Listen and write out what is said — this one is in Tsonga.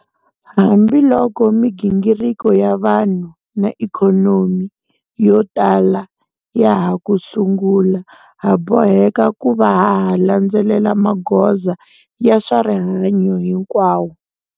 Hambiloko migingiriko ya vanhu na ikhonomi yo tala ya ha ku sungula, ha boheka ku va ha ha landzelela magoza ya swa rihanyu hinkwawo.